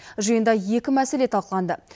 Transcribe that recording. жиында екі мәселе талқыланды